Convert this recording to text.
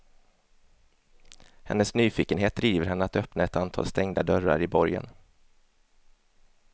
Hennes nyfikenhet driver henne att öppna ett antal stängda dörrar i borgen.